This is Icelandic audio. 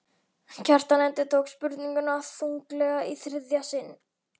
Kjartan endurtók spurninguna þunglega í þriðja sinn.